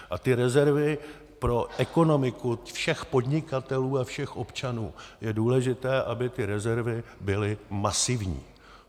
A ty rezervy pro ekonomiku všech podnikatelů a všech občanů, je důležité, aby ty rezervy byly masivní.